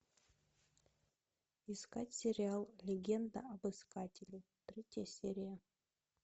искать сериал легенда об искателе третья серия